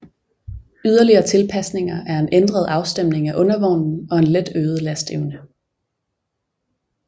Yderligere tilpasninger er en ændret afstemning af undervognen og et let øget lasteevne